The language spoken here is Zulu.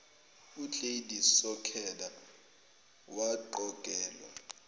ugladys sokhela waqokelwa